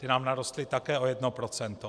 Ty nám narostly také o jedno procento.